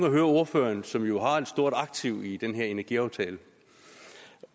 at høre ordføreren som jo har en stort aktie i den her energiaftale